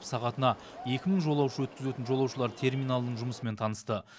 сағатына екі мың жолаушы өткізетін жолаушылар терминалының жұмысымен танысты